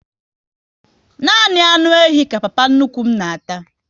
Nani anụ ehi ka papa nnukwu m na ata